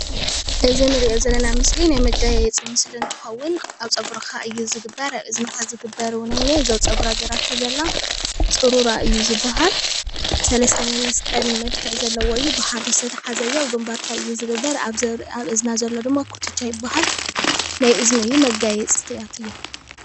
እዚ እንርአዮ ዘለና ምስሊ ናይ መጋየፂ ምስሊ አንትከውን ኣብ ፀጉርካ እዩ ዝግበር። ኣብ እዝንካ ዝግበር እውነይ እኒአ። እዙይ ኣብ ፀጉርካ ገይራቶ ዘላ ፁሩራ እዩ ዝባሃል። ሰለሰተ ናይ መስቀል መልክዕ ዘለዎ እዩ። ብሃሪ ዝተተሓዘ እዮ ።ኣብ ግንባርካ እዪ ዝግበር። ኣብ እዝና ዘሎ ድማ ኩትቻ ይባሃል ።ናይ አዝኒ እዩ መጋየፅቲታ እዮም።